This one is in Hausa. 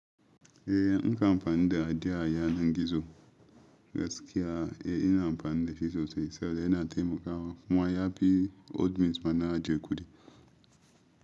Eh, nka amfani da adiya a yanar gizo. Gaskiya, eh ina amfani da shi sosai saboda yana taimakawa. Kuma ya fi admins ma na ajiye kuɗi.